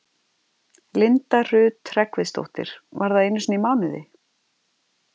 Linda Rut Hreggviðsdóttir: Var það einu sinni í mánuði?